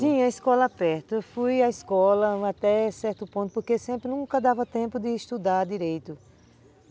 Tinha escola perto, fui à escola até certo ponto, porque sempre nunca dava tempo de estudar direito.